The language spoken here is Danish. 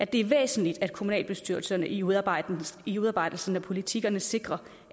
det er væsentligt at kommunalbestyrelserne i udarbejdelsen i udarbejdelsen af politikkerne sikrer